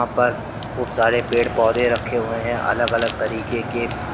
पर खूब सारे पेड़ पौधे रखे हुए हैं अलग अलग तरीके के।